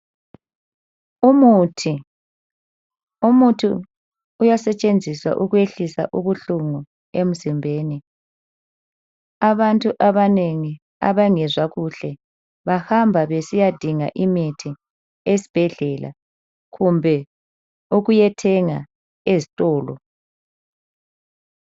Umuthi umuthi uyasetshenziswa ukwehlisa ubuhlungu emzimbeni abantu abanengi abangezwa kuhle bahamba besiyadingaimithi esibhedlela kumbe ukuyethenga ezitolo